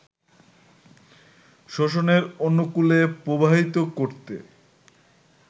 শোষণের অনুকূলে প্রবাহিত করতে